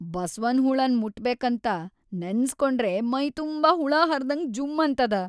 ಬಸವನ್‌ ಹುಳನ್ ಮುಟ್ಬೇಕಂತ ನೆನಸ್ಕೊಂಡ್ರೇ ಮೈತುಂಬಾ ಹುಳಾಹರ್ದ್ಹಂಗ್ ಜುಂ ಅನ್ತದ.